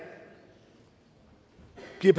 ved